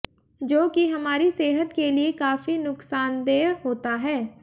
जो कि हमारी सेहत के लिए काफी नुकसानदेय होता है